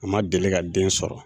u ma deli ka den sɔrɔ